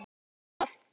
Geri það.